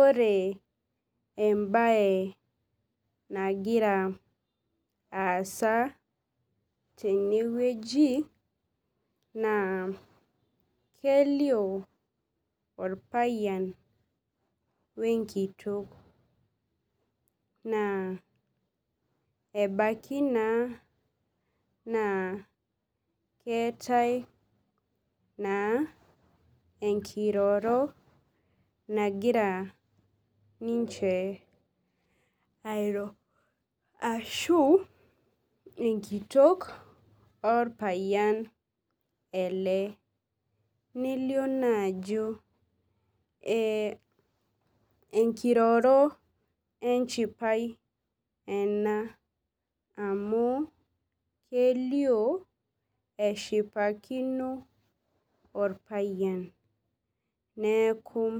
Ore embaye aasa tenewueji naa kelioo orpayian o enkitok naa ebaiki naa naa keetai naa enkiroro nagira ninche airo ashu enkitok orpayian nelioo naa ajo enkiroro enchipai ena amu keliuo eshipakino orpayian neekub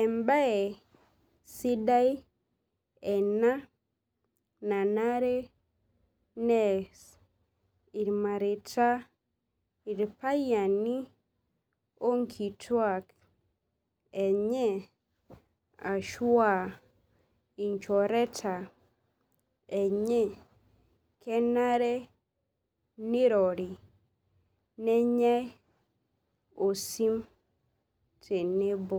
embaye sidai ena nanare nees irmareita irpayiani onkituaak enye ashu aa inchoreta enye kenare nirori nenyai osim tenebo.